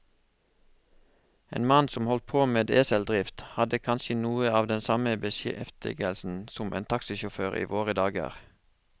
En mann som holdt på med eseldrift, hadde kanskje noe av den samme beskjeftigelse som en taxisjåfør i våre dager.